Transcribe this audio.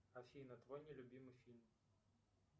афина твой не любимый фильм